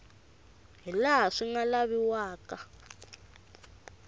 hi laha swi nga laviwaka